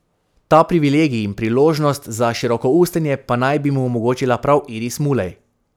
Ta privilegij in priložnost za širokoustenje pa naj bi mu omogočila prav Iris Mulej.